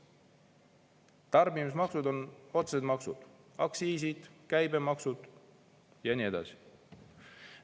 Tarbimismaksud on otsesed maksud: aktsiisid, käibemaksud ja nii edasi.